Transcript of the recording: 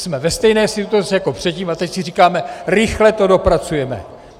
Jsme ve stejné situaci jako předtím a teď si říkáme: rychle to dopracujeme.